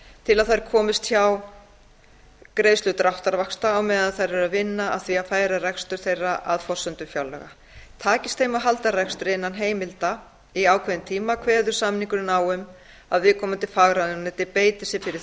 til að þær komist hjá greiðslu dráttarvaxta á meðan þær eru að vinna að því að færa rekstur þeirra að forsendum fjárlaga takist þeim að halda rekstri innan heimilda í ákveðinn tíma kveður samningurinn á um að viðkomandi fagráðuneyti beiti sér fyrir því